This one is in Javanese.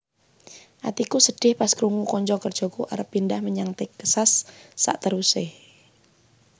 Atiku sedih pas krungu konco kerjoku arep pindah menyang Texas sakteruse